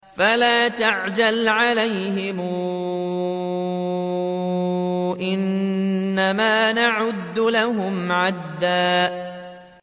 فَلَا تَعْجَلْ عَلَيْهِمْ ۖ إِنَّمَا نَعُدُّ لَهُمْ عَدًّا